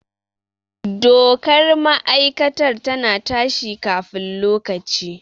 Dokar ma'aikatar ta na ta shi kafin lokaci